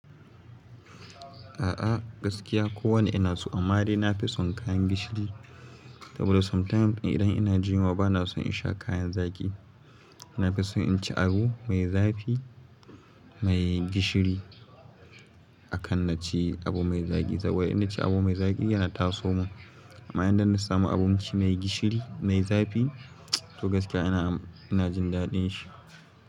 A'a gaskiya ko wane ina so, amma dai na fi son kayan gishiri. But sometimes idan ina jin yunwa bana son in sha kayan zaki, na fi so in ci abu mai zafi, mai gishiri akan na ci abu mai zaki saboda in na ci abu mai zaki yana taso mun. Amma idan na samu abinci mai gishiri, mai zafi to gaskiya ina, ina jin daɗin shi.